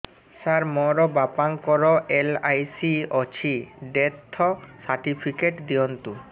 ସାର ମୋର ବାପା ଙ୍କର ଏଲ.ଆଇ.ସି ଅଛି ଡେଥ ସର୍ଟିଫିକେଟ ଦିଅନ୍ତୁ